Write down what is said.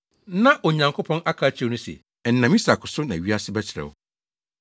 Na Onyankopɔn aka akyerɛ no se, “Ɛnam Isak so na wʼase bɛterɛw.”